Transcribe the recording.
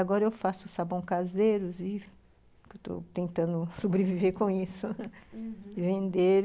Agora eu faço sabão caseiro i , estou tentando sobreviver com isso, uhum, vender.